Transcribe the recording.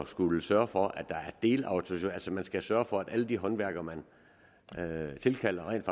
skulle sørge for at der er delautorisationer skal sørge for at alle de håndværkere man tilkalder rent